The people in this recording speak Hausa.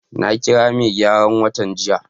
nakira megyaran wutan jiya.